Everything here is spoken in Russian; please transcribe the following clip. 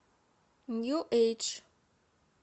нью эйдж